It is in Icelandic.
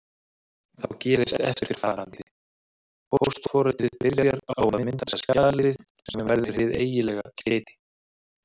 Þá gerist eftirfarandi: Póstforritið byrjar á að mynda skjalið sem verður hið eiginlega skeyti.